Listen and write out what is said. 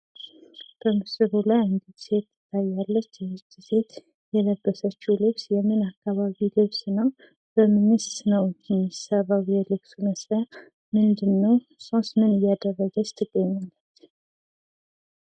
በምስሉ ላይ አንዲት ሴት ትታያለች ።ይቺ ሴት የለበሰችው ልብስ የምን አካባቢ ልብስ ነው? ከምንስ ነው የሚሠራው? የልብሱ መስሪያ ምንድነው? እሷስ ምን እያደረገች ትገኛለች?